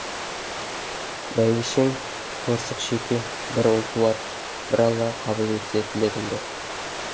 бәйбішең торсық шеке бір ұл туар бір алла қабыл етсе тілегімді